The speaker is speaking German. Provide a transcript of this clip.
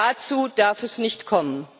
Dazu darf es nicht kommen!